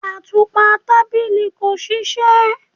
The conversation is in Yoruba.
Atupa tabili ko ṣiṣẹ